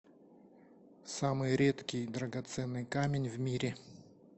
самый редкий драгоценный камень в мире